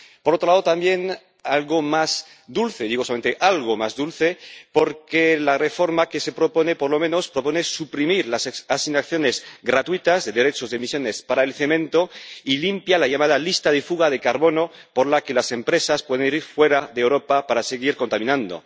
Por otro lado, también algo más dulce digo solamente algo más dulce porque la reforma que se propone, por lo menos propone suprimir las asignaciones gratuitas de derechos de emisiones para el cemento, y limpia la llamada lista de fuga de carbono por la que las empresas pueden ir fuera de Europa para seguir contaminando.